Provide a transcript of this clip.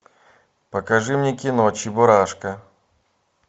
покажи мне кино чебурашка